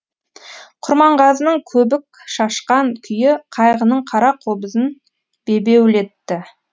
құрманғазының көбік шашқан күйі қайғының қара қобызын бебеулетті